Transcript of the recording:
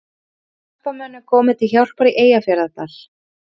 Jeppamönnum komið til hjálpar á Eyjafjarðardal